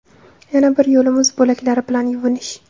Yana bir yo‘li muz bo‘laklari bilan yuvinish.